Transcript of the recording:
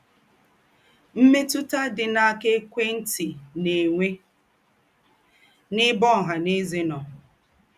Mmétụ̀tà dị àṅáa kà ékwé ntị na - ènwé n’ēbè ọ̀hà nà ėzè nọ?